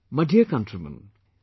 My dear countrymen,